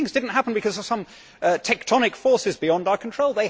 But these things did not happen because of some tectonic forces beyond our control.